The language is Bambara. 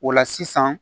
O la sisan